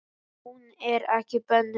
Ef hún er ekki bönnuð.